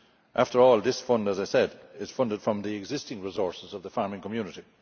After all, as I said, it is funded from the existing resources of the farming community.